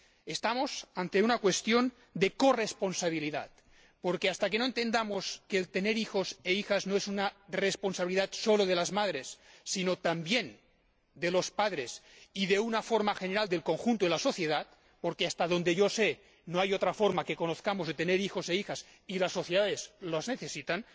Estamos ante una cuestión de corresponsabilidad, porque no podemos ignorar que tener hijos e hijas no es una responsabilidad solo de las madres, sino también de los padres y, de una forma general, del conjunto de la sociedad —porque, hasta donde yo sé, no hay otra forma que conozcamos de tener hijos e hijas, y las sociedades los necesitan—.